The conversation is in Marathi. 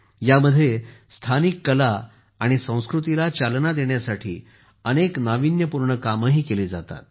यामध्ये स्थानिक कला आणि संस्कृतीला चालना देण्यासाठी अनेक नावीन्यपूर्ण कामेही केली जातात